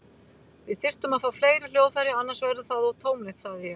Við þyrftum að fá fleiri hljóðfæri, annars verður það of tómlegt, sagði ég.